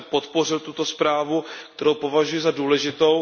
Já jsem podpořil tuto zprávu, kterou považuji za důležitou.